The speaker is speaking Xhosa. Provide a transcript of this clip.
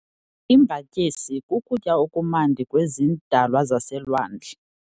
Imbatyisi kukutya okumnandi kwezidalwa zaselwandle.